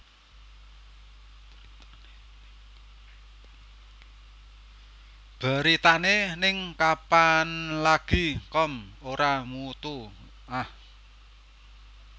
Beritane ning kapanlagi com ora mutu ah